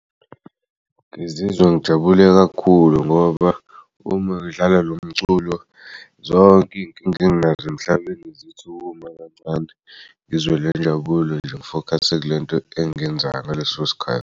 Ngizizwa ngijabule kakhulu ngoba uma ngidlala lo mculo zonk'inkinga enginaz'emhlabeni zithukuma kancane ngizwe le injabulo nje ngifokhase kulento engiyenzayo ngaleso sikhathi.